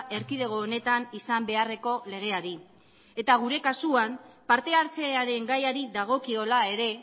erkidego honetan izan beharreko legeari eta gure kasuan parte hartzearen gaiari dagokiola ere